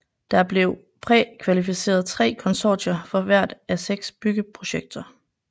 Der blev prækvalificeret 3 konsortier for hvert af seks byggeprojekter